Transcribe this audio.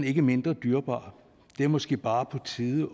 ikke mindre dyrebar det er måske bare på tide